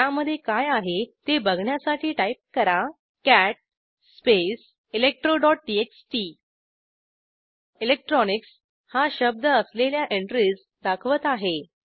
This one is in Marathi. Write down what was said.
त्यामधे काय आहे ते बघण्यासाठी टाईप करा कॅट स्पेस electroटीएक्सटी electronicsहा शब्द असलेल्या एंट्रीज दाखवत आहे